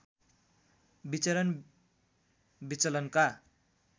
विचरण विचलनका